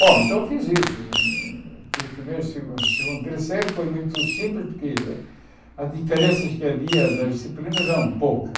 Bom, então eu fiz isso, fiz primeiro, segun segundo, terceiro, foi muito simples, porque as diferenças que havia das disciplinas eram poucas.